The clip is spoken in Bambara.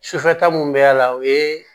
Sufɛ ta mun bɛ y'a la o ye